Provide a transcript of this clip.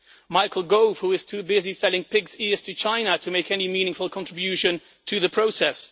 Michael Gove, who is too busy selling pigs' ears to China to make any meaningful contribution to the process